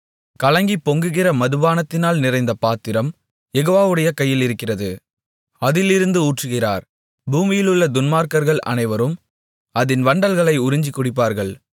கலங்கிப் பொங்குகிற மதுபானத்தினால் நிறைந்த பாத்திரம் யெகோவாவுடைய கையிலிருக்கிறது அதிலிருந்து ஊற்றுகிறார் பூமியிலுள்ள துன்மார்க்கர்கள் அனைவரும் அதின் வண்டல்களை உறிஞ்சிக் குடிப்பார்கள்